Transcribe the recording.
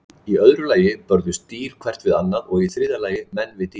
Í öðru lagi börðust dýr hvert við annað og í þriðja lagi menn við dýr.